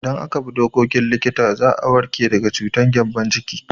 Idan aka bi dokokin likita za a warke daga cutar gyambon ciki.